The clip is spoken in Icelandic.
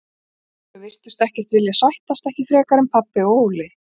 Þau virtust ekkert vilja sættast, ekki frekar en pabbi og Óli.